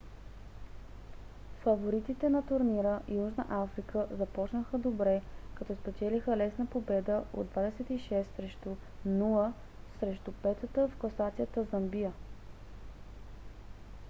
фаворитите на турнира южна африка започнаха добре като спечелиха лесна победа от 26 – 00 срещу 5-та в класацията замбия